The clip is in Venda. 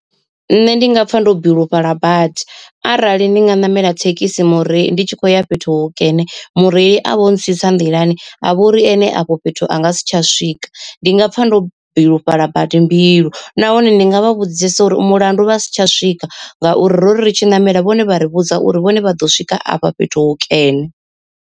Nṋe ndi nga pfa ndo bilufhala badi arali ndi nga ṋamela thekhisi mureili ndi tshi khou ya fhethu hukene mureili a vho ntsitsa nḓilani a vha uri ene afho fhethu anga si tsha swika, ndi nga pfa ndo bilufhala badi mbilu, nahone ndi nga vha vhudzisa uri mulandu vha si tsha swika ngauri ro ri tshi ṋamela vhone vha ri vhudza uri vhone vha ḓo swika afha fhethu hukene.